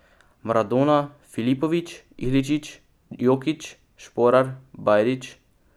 Maradona, Filipović, Iličić, Jokić, Šporar, Bajrić ...